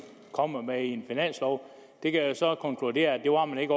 kommer med i en finanslov jeg kan så konkludere at det var man ikke